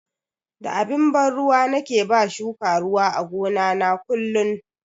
Da abin ban ruwa nake ba shuka ruwa a gona na kullun.